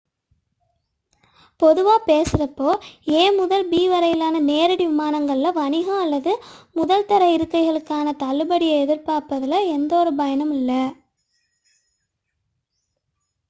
பொதுவாக பேசுகையில் ஏ முதல் பி வரையிலான நேரடி விமானங்களில் வணிகம் அல்லது முதல் தர இருக்கைகளுக்கான தள்ளுபடியை எதிர்பார்ப்பதில் எந்தொரு பயனுமில்லை